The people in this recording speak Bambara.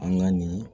An ka nin